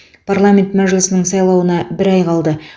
парламент мәжілісінің сайлауына бір ай қалды